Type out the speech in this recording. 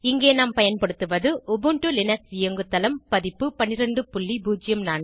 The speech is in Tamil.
இங்கே நான் பயன்படுத்துவது உபுண்டு லினக்ஸ் இயங்குதளம் பதிப்பு 1204